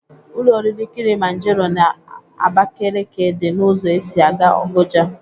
Ụlọ oriri kịlịmanjero n'Abakeleke dị n'ụzọ esi aga Ogoja.